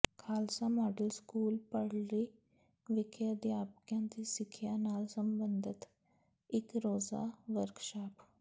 Khalsa model school Bhallari ਵਿਖੇ ਅਧਿਆਪਕਾਂ ਦੀ ਸਿੱਖਿਆ ਨਾਲ ਸੰਬੰਧਤ ਇਕ ਰੋਜ਼ਾ ਵਰਕਸ਼ਾਪ